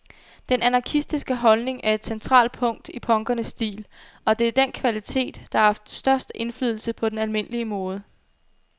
Den anarkistiske holdning er et centralt punkt i punkernes stil, og det er den kvalitet, der har haft størst indflydelse på den almindelige mode.